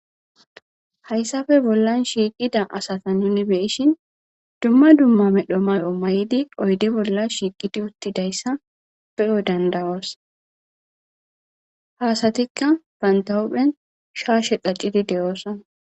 Haysappe bollan shiiqida asata nuni beyishin duma duma medho mayo mayidi oyde bolla shiiqidi uttidaysa beyo danda'os ha asatika banta hu'en shaashe qacidi de'osona